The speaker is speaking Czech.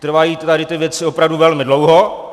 Trvají tady ty věci opravdu velmi dlouho.